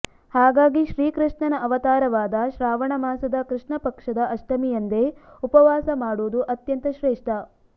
ಹಾಗಾಗಿ ಶ್ರೀಕೃಷ್ಣನ ಅವತಾರವಾದ ಶ್ರಾವಣ ಮಾಸದ ಕೃಷ್ಣಪಕ್ಷದ ಅಷ್ಟಮಿಯಂದೇ ಉಪವಾಸ ಮಾಡುವುದು ಅತ್ಯಂತ ಶ್ರೇಷ್ಠ